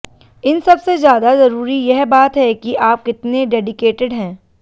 इन सबसे ज्यादा जरूरी यह बात है कि आप कितने डेडिकेटेड हैं